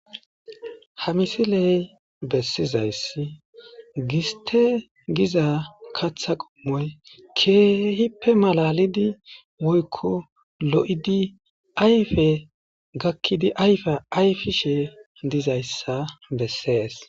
Ha misiley bessizayssi giste giza katha qommoy keehippe malalidi woykko lo'idi ayfe gakkidi ayfe ayfishe dizayssa bessees.